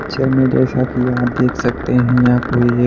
picture में जैसा कि आप देख सकते हैं यहां कोई एक --